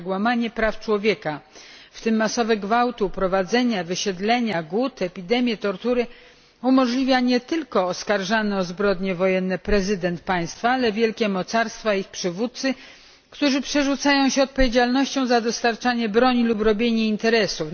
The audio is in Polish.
Jednak łamanie praw człowieka, w tym masowe gwałty, uprowadzenia, wysiedlenia, głód, epidemie, tortury, umożliwia nie tylko oskarżany o zbrodnie wojenne prezydent państwa, ale wielkie mocarstwa i ich przywódcy, którzy przerzucają się odpowiedzialnością za dostarczanie broni lub robienie interesów.